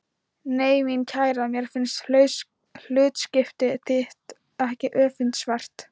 Nei mín kæra, mér finnst hlutskipti þitt ekki öfundsvert.